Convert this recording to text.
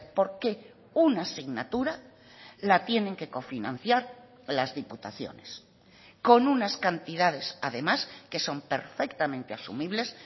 por qué una asignatura la tienen que cofinanciar las diputaciones con unas cantidades además que son perfectamente asumibles